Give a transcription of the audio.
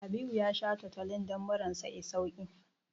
Habibu ya sha Tutolin don murar sa ta yi sauƙi.